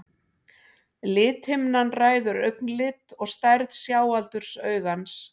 lithimnan ræður augnlit og stærð sjáaldurs augans